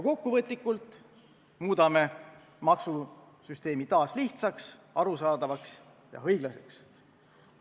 Me muudame maksusüsteemi taas lihtsaks, arusaadavaks ja õiglaseks.